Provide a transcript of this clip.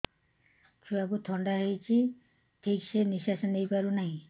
ଛୁଆକୁ ଥଣ୍ଡା ହେଇଛି ଠିକ ସେ ନିଶ୍ୱାସ ନେଇ ପାରୁ ନାହିଁ